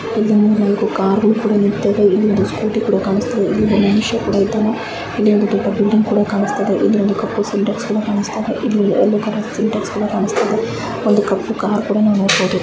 ಇಲ್ಲಿ ಮೂರ್ ನಾಲ್ಕು ಕಾರ್ ಕೂಡ ನಿಂತಿವೆ ಇಲ್ಲಿ ಒಂದು ಸ್ಕೂಟಿ ಕೂಡ ಕಾಣಿಸ್ತಾಯಿದೆ ಒಬ್ಬ ಮನುಷ್ಯ ಕೂಡ ಇದ್ದಾನೆ ಇಲ್ಲಿ ಒಂದು ದೊಡ್ಡ ಬಿಲ್ಡಿಂಗ್ ಕೂಡ ಕಾಣಿಸ್ತಾಯಿದೆ ಇಲ್ಲಿ ಒಂದು ಕಪ್ಪು ಸಿಂಟ್ಯಾಕ್ಸ್ ಕೂಡ ಕಾಣಿಸ್ತಾಯಿದೆ ಇಲ್ಲಿ ಯೆಲ್ಲೋ ಕಲರ್ ಸಿಂಟ್ಯಾಕ್ಸ್ ಕೂಡ ಕಾಣಿಸ್ತಾಯಿದೆ ಒಂದು ಕಪ್ಪು ಕಾರ್ ಕೂಡ ನಾವ್ ನೋಡಬಹುದು.